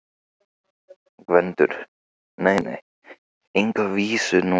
GVENDUR: Nei, nei, enga vísu núna.